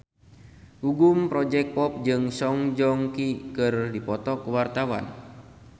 Gugum Project Pop jeung Song Joong Ki keur dipoto ku wartawan